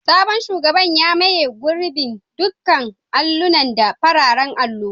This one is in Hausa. Sabon shugaban ya maye gurbin dukkan allunan da fararen allo.